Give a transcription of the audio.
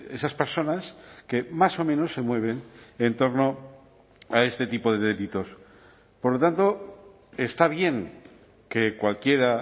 esas personas que más o menos se mueven en torno a este tipo de delitos por lo tanto está bien que cualquiera